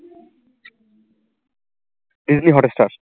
Disney Hotstar